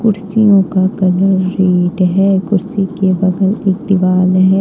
का colour red है कुर्सी के बगल एक दीवाल है।